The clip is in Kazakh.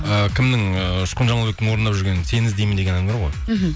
і кімнің ііі ұшқын жамалбектің орындап жүрген сені іздеймін деген әні бар ғой мхм